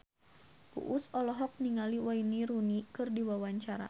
Uus olohok ningali Wayne Rooney keur diwawancara